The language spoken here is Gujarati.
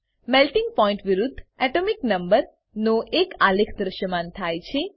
મેલ્ટિંગ પોઇન્ટ વિરુદ્ધ એટોમિક નંબર નો એક આલેખ દ્રશ્યમાન થાય છે